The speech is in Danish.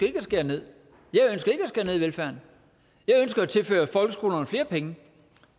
at skære ned i velfærden jeg ønsker at tilføre folkeskolerne flere penge